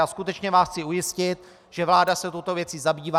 A skutečně vás chci ujistit, že vláda se touto věcí zabývá.